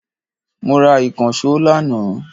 Mo ra ìkànsó lànà